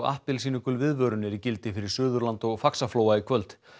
appelsínugul viðvörun er í gildi fyrir Suðurland og Faxaflóa í kvöld